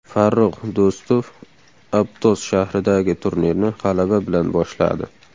Farrux Do‘stov Aptos shahridagi turnirni g‘alaba bilan boshladi.